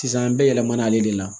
Sisan an bɛ yɛlɛmana ale de la